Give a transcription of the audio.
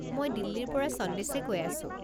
মই দিল্লীৰ পৰা সন্দেশে কৈ আছো।